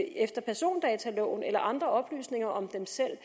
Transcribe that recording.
efter persondataloven eller søge andre oplysninger om sig selv